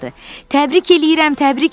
Təbrik eləyirəm, təbrik eləyirəm,